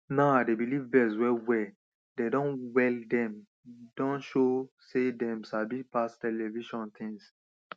now i dey believe birds well well dem don well dem don show sey dem sabi pass television things